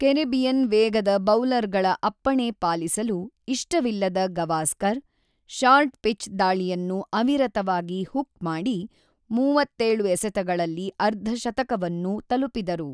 Caribbean ವೇಗದ ಬೌಲರ್‌ಗಳ ಅಪ್ಪಣೆ ಪಾಲಿಸಲು ಇಷ್ಟವಿಲ್ಲದ ಗವಾಸ್ಕರ್, ಶಾರ್ಟ್ ಪಿಚ್ ದಾಳಿಯನ್ನು ಅವಿರತವಾಗಿ ಹುಕ್‍ ಮಾಡಿ, ೩೭ ಎಸೆತಗಳಲ್ಲಿ ಅರ್ಧಶತಕವನ್ನು ತಲುಪಿದರು.